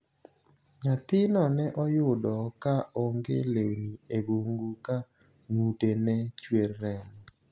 Nyathino ne oyudo ka onge lewni e bungu ka ng'ute ne chwer remo.